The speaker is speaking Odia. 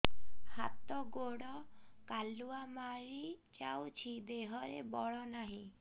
ହାତ ଗୋଡ଼ କାଲୁଆ ମାରି ଯାଉଛି ଦେହରେ ବଳ ନାହିଁ